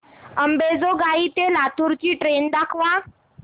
अंबेजोगाई ते लातूर ची ट्रेन दाखवा